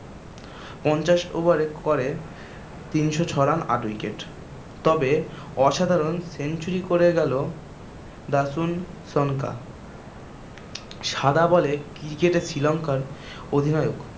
পঞ্চাশ over এ করে তিনশ ছ run আট wicket তবে অসাধারন century করে গেল দাসুন সানকা সাদা বলে cricket এ শ্রীলঙ্কার অধিনায়ক।